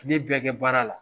Kile bɛ kɛ baara la.